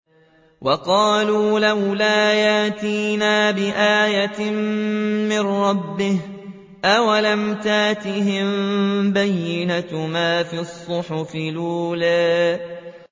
وَقَالُوا لَوْلَا يَأْتِينَا بِآيَةٍ مِّن رَّبِّهِ ۚ أَوَلَمْ تَأْتِهِم بَيِّنَةُ مَا فِي الصُّحُفِ الْأُولَىٰ